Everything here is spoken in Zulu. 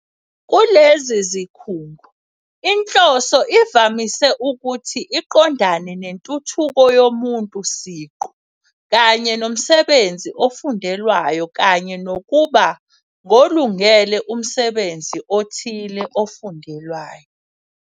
Kulezi zikhungo, inhloso ivamise ukuthi iqondane nentuthuko yomuntu siqu kanye nomsebenzi ofundelwayo kanye nokuba ngolungele umsebenzi othile ofundelwayo.